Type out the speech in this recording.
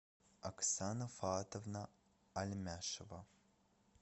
оксана фаатовна альмяшева